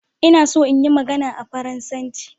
Ina so in iya magana a Faransanci